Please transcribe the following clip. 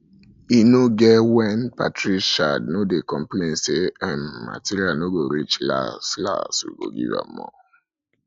e no um get when patricia no dey complain say um material no go reach las um las we go give am more